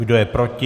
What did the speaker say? Kdo je proti?